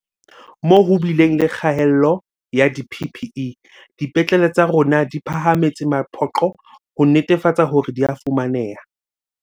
Moo ho bileng le kgaello ya di-PPE, dipetlele tsa rona di phahametse mapoqo ho netefatsa hore di a fumaneha.